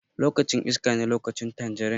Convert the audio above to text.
Lokacin iskane lokacin tanjarin.